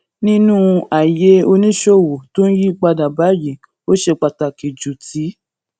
nínú ayé oníṣòwò tó ń yí padà báyìí ó ṣe pàtàkì ju ti